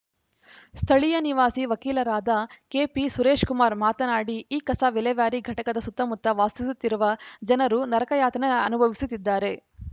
ಸ್ಥಳೀಯ ನಿವಾಸಿ ವಕೀಲರಾದ ಕೆಪಿ ಸುರೇಶ್‌ಕುಮಾರ್‌ ಮಾತನಾಡಿ ಈ ಕಸ ವಿಲೇವಾರಿ ಘಟಕದ ಸುತ್ತಮುತ್ತ ವಾಸಿಸುತ್ತಿರುವ ಜನರು ನರಕ ಯಾತನೆ ಅನುಭವಿಸುತ್ತಿದ್ದಾರೆ